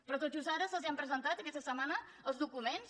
però tot just ara se’ls han presentat aquesta setmana els documents